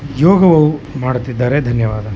ಯೋಗವು ಮಾಡುತ್ತಿದ್ದಾರೆ ಧನ್ಯವಾದ .